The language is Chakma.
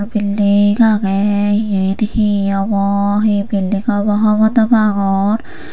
building age iyen he obo he building obo hobor no pangor.